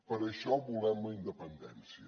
per això volem la independència